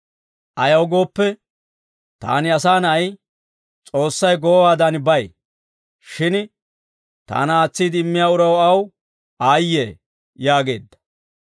Ayaw gooppe, taani Asaa Na'ay S'oossay goowaadan bay; shin taana aatsiide immiyaa uraw aw aayye» yaageedda.